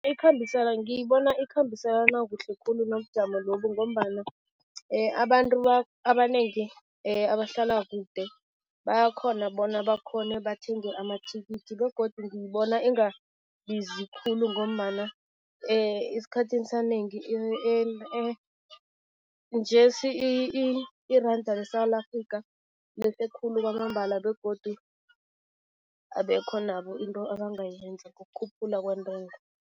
Ngiyibona ikhambiselana kuhle khulu nobujamo lobu ngombana abantu abanengi abahlala kude bayakghona bona bakghone bathenge amathikithi begodu ngibona ingabizi khulu ngombana esikhathini sanengi njesi iranda leSewula Afrika lehle khulu kwamambala begodu abekho nabo into ebangayenza, kukhuphula kweentengo.